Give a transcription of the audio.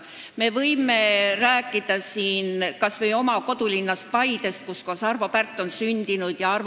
Ma võin siin rääkida kas või oma kodulinnast Paidest, kus on sündinud Arvo Pärt.